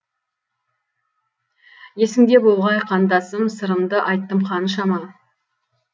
есіңде болғай қандасым сырымды айттым қаншама